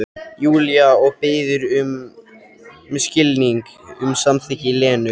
Júlía og biður um skilning, um samþykki Lenu.